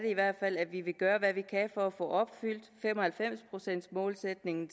i hvert fald at vi vil gøre hvad vi kan for at få opfyldt fem og halvfems procents målsætningen